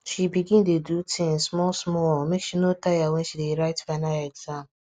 she begin dey do things small small make she no go tire when she dey write final exam